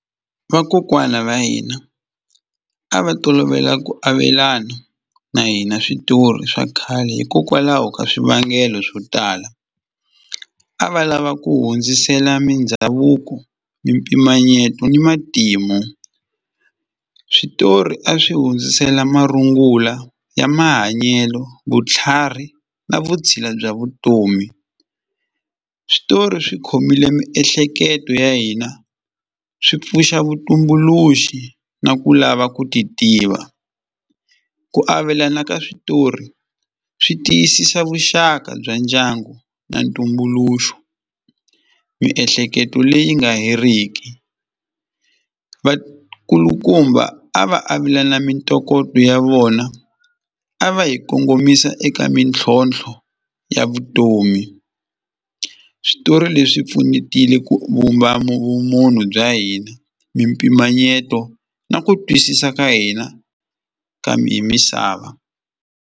Vakokwana va hina a va tolovela ku avelana na hina switori swa khale hikokwalaho ka swivangelo swo tala a va lava ku hundzisela mindhavuko, mpimanyeto ni matimu switori a swi hundzisela marungula ya mahanyelo vutlhari na vutshila bya vutomi switori swi khomile miehleketo ya hina swi pfuxa vutumbuluxi na ku lava ku ti tiva ku avelana ka switori swi tiyisisa vuxaka bya ndyangu na ntumbuluxo miehleketo leyi nga heriki vakulukumba a va avelana mintokoto ya vona a va yi kongomisa eka mintlhontlho ya vutomi switori leswi pfunetile ku vumba vumunhu bya hina mimpimanyeto na ku twisisa ka hina kambe hi misava.